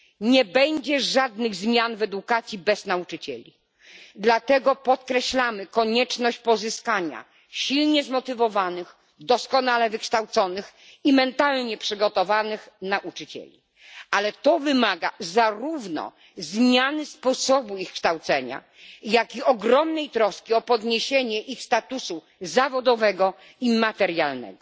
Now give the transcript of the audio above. Nie będzie żadnych zmian w edukacji bez nauczycieli, dlatego zwracamy uwagę na konieczność pozyskania silnie zmotywowanych, doskonale wykształconych i mentalnie przygotowanych nauczycieli. Wymaga to jednak zarówno zmiany sposobu ich kształcenia, jak i ogromnej troski o podniesienie ich statusu zawodowego i materialnego.